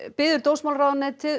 biður dómsmálaráðuneytið